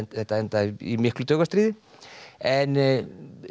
þetta endaði í miklu taugastríði en